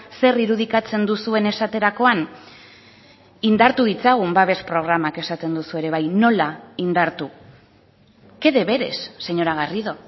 zer irudikatzen duzuen esaterakoan indartu ditzagun babes programak esaten duzue ere bai nola indartu qué deberes señora garrido